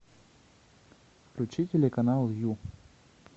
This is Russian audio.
включи телеканал ю